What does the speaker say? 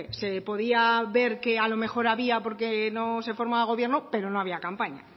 se podía ver que a lo mejor había porque no se formaba gobierno pero no había campaña